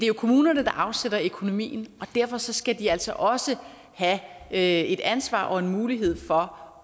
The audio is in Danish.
jo kommunerne der afsætter økonomien og derfor skal de altså også have et ansvar og en mulighed for